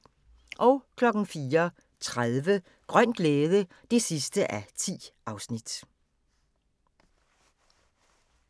04:30: Grøn glæde (10:10)